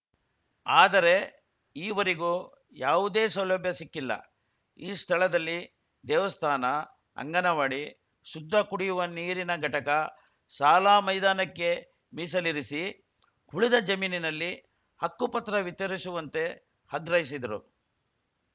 ಆದರೆ ಈವರಿಗೂ ಯಾವುದೇ ಸೌಲಭ್ಯ ಸಿಕ್ಕಿಲ್ಲ ಈ ಸ್ಥಳದಲ್ಲಿ ದೇವಸ್ಥಾನ ಅಂಗನವಾಡಿ ಶುದ್ಧ ಕುಡಿಯುವ ನೀರಿನ ಘಟಕ ಸಾಲಾ ಮೈದಾನಕ್ಕೆ ಮೀಸಲಿರಿಸಿ ಉಳಿದ ಜಮೀನಿನಲ್ಲಿ ಹಕ್ಕುಪತ್ರ ವಿತರಿಸುವಂತೆ ಅಗ್ರಹಿಸಿದರು